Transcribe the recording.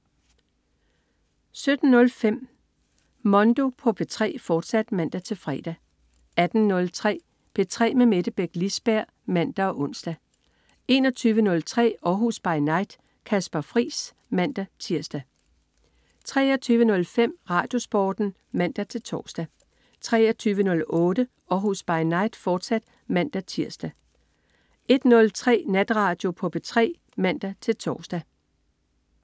17.05 Mondo på P3, fortsat (man-fre) 18.03 P3 med Mette Beck Lisberg (man og ons) 21.03 Århus By Night. Kasper Friis (man-tirs) 23.05 RadioSporten (man-tors) 23.08 Århus By Night, fortsat (man-tirs) 01.03 Natradio på P3 (man-tors)